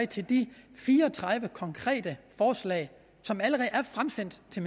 til de fire og tredive konkrete forslag som allerede er fremsendt til